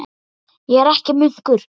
Ég er ekki munkur.